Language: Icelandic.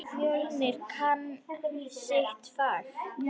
Fjölnir kann sitt fag.